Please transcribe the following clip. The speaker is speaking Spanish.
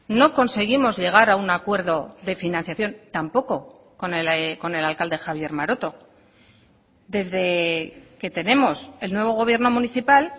no conseguimos llegar a un acuerdo de financiación tampoco con el alcalde javier maroto desde que tenemos el nuevo gobierno municipal